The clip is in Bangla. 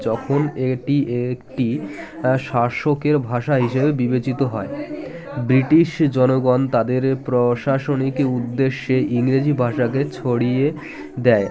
যখন এটি একটি শাসকের ভাষা হিসেবে বিবেচিত হয় বৃটিশ জনগণ তাদের প্রশাসনিক উদ্দেশ্যে ইংরেজি ভাষাকে ছড়িয়ে দেয়